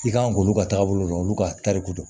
I kan k'olu ka taabolo dɔn olu ka tariku don